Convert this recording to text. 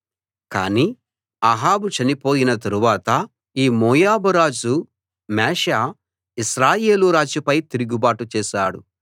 కానీ అహాబు చనిపోయిన తరువాత ఈ మోయాబు రాజు మేషాఇశ్రాయేలు రాజుపై తిరుగుబాటు చేశాడు